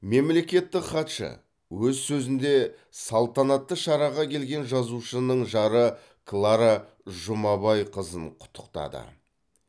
мемлекеттік хатшы өз сөзінде салтанатты шараға келген жазушының жары клара жұмабайқызын құттықтады